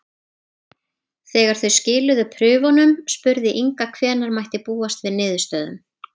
Þegar þau skiluðu prufunum spurði Inga hvenær mætti búast við niðurstöðum.